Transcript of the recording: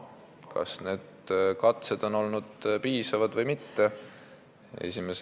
Kas need katsed on olnud piisavad või mitte?